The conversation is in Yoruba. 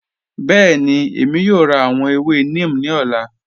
Bẹẹni, Èmi yóò rá àwọn èwè neem ni ọ̀lá